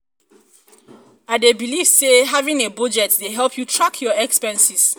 i dey believe say having a budget dey help you track your expenses.